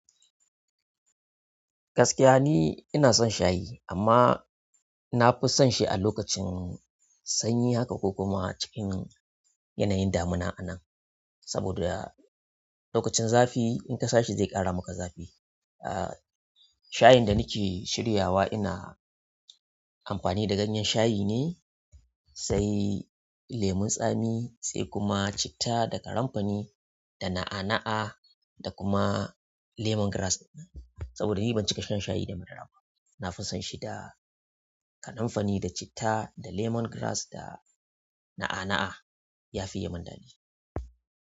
Gaskiya ne ina son shayi amma nafi son shi a lokacin sanyi haka ko kuma cikin yanayin damina anan. Saboda lokacin zafi in kasa shi zai ƙara maka zafi. Ah, shayin da nake shiryawa ina amfani da ganyen shayi ne, sai lemon tsami, sai kuma citta da karenfani da na'a-na'a da kuma lemon grass. Saboda ni ban cika shan shayi da madara ba. Nafi son shi da karenfani da citta da lemon grass da na'a-na'a ya fiye min daɗi.